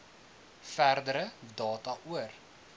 verdere data oor